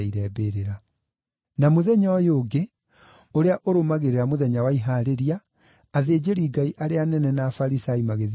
Na mũthenya ũyũ ũngĩ ũrĩa ũrũmagĩrĩra Mũthenya wa Ihaarĩria, athĩnjĩri-Ngai arĩa anene na Afarisai magĩthiĩ kwa Pilato.